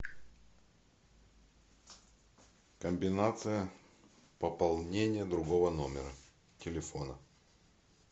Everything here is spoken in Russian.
комбинация пополнения другого номера телефона